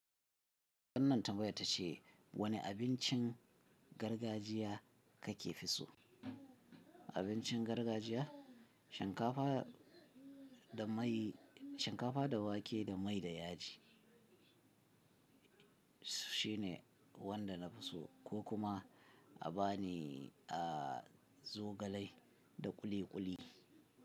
Wannan tambayar ta ce wane abincin gargajiya ka ke fi so? Abincin gargajiya, shinkafa da mai, shinkafa da wake da mai da yaji, shine wanda na fi so, ko kuma a ba ni a zogalai da kuli kuli.